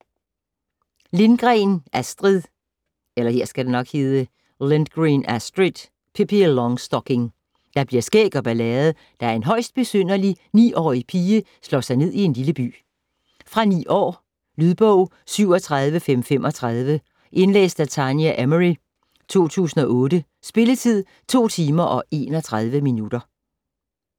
Lindgren, Astrid: Pippi Longstocking Der bliver skæg og ballade, da en højst besynderlig 9-årig pige slår sig ned i en lille by. Fra 9 år. Lydbog 37535 Indlæst af Tania Emery, 2008. Spilletid: 2 timer, 31 minutter.